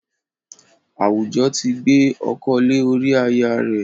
Àwùjọ ti gbé ọkọ lé ori aya rẹ̀